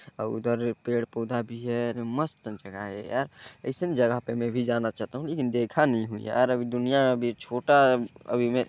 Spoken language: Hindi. और उधर पेड़ -पौधा भी है मस्त जगह है यार अइसन जगह पे मैं भी जाना चाहता हूँ लेकिन देखा नहीं हूँ यार अभी दुनिया अभी छोटा अभी मैं--